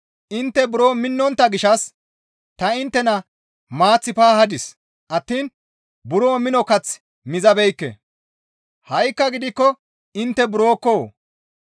Intte buro minnontta gishshas ta inttena maath paahadis attiin buro mino kath mizabeekke; ha7ikka gidikko intte burokko!